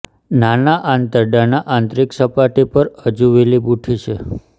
નાના આંતરડાના આંતરિક સપાટી પર હજુ વિલી બુઠ્ઠી છે